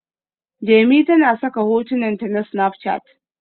Jemi tana saka hotunan ta a Snapchat